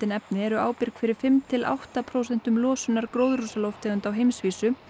efni eru ábyrg fyrir fimm til átta prósenta losunar gróðurhúsalofttegunda á heimsvísu